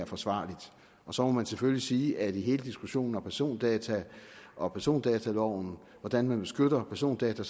forsvarlig så må man selvfølgelig sige at vi i hele diskussionen om persondata og persondataloven og hvordan man beskytter persondata